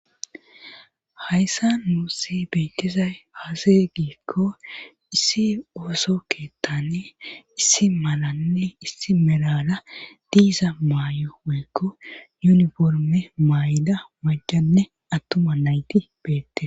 hayssa nuusi beettizay aze giikko issi ooso keettane issi malanne issi merala diiza maayo woykko yuniforme maayida maccanne attuma nayti beettetes